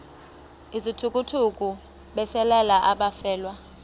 izithukuthuku besalela abafelwa